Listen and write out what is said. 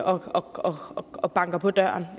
og og banker på døren